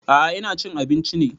A'a ina cin abinci ne